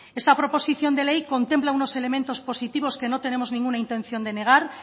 esta proposición de ley contempla unos elementos positivos que no tenemos ninguna intención de negar